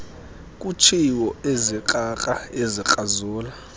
kutshiwo ezikrakra ezikrazula